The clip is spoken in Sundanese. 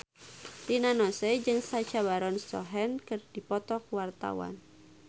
Rina Nose jeung Sacha Baron Cohen keur dipoto ku wartawan